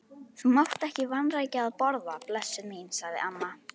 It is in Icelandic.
Þú mátt ekki vanrækja að borða, blessuð mín, sagði amma.